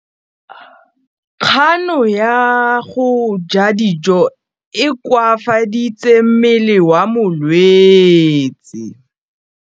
Kganô ya go ja dijo e koafaditse mmele wa molwetse.